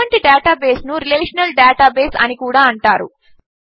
ఇటువంటి డేటాబేస్ను relational database అని కూడా అంటారు